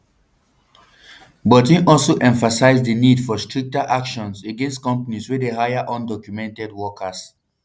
but im also emphasise di need for stricter action against companies wey dey hire undocumented workers